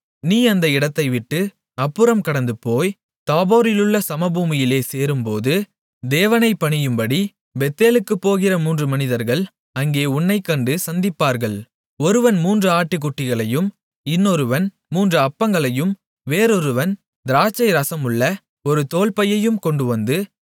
நீ அந்த இடத்தைவிட்டு அப்புறம் கடந்துபோய் தாபோரிலுள்ள சமபூமியிலே சேரும்போது தேவனைப் பணியும்படி பெத்தேலுக்குப் போகிற மூன்று மனிதர்கள் அங்கே உன்னைக் கண்டு சந்திப்பார்கள் ஒருவன் மூன்று ஆட்டுக்குட்டிகளையும் இன்னொருவன் மூன்று அப்பங்களையும் வேறொருவன் திராட்சை ரசமுள்ள ஒரு தோல்பையும் கொண்டுவந்து